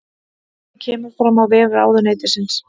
Þetta kemur fram á vef ráðuneytisins